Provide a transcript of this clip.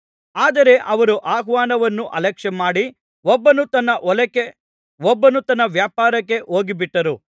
ಆದರೆ ಅವರು ಆಹ್ವಾನವನ್ನು ಅಲಕ್ಷ್ಯಮಾಡಿ ಒಬ್ಬನು ತನ್ನ ಹೊಲಕ್ಕೆ ಒಬ್ಬನು ತನ್ನ ವ್ಯಾಪಾರಕ್ಕೆ ಹೋಗಿಬಿಟ್ಟರು